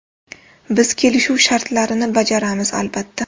Biz kelishuv shartlarini bajaramiz, albatta.